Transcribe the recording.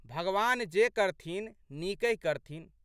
भगवान जे करथिन नीकहि करथिन।